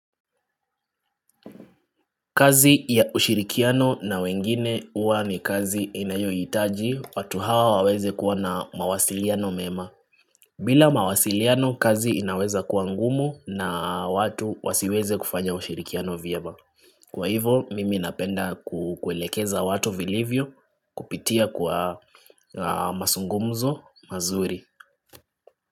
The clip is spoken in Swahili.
Kazi ya ushirikiano na wengine huwa ni kazi inayohitaji, watu hawa waweze kuwa na mawasiliano mema. Bila mawasiliano kazi inaweza kuwa ngumu na watu wasiweze kufanya ushirikiano vyema. Kwa hivo, mimi napenda kuelekeza watu vilivyo kupitia kwa mazungumzo mazuri.